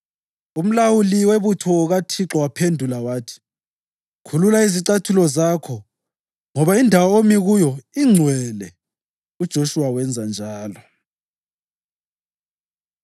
Umlawuli wamabutho kaThixo waphendula wathi, “Khulula izicathulo zakho ngoba indawo omi kuyo ingcwele.” UJoshuwa wenza njalo.